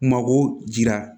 Mako jira